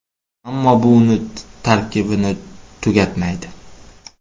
Ammo bu uning tarkibini tugatmaydi.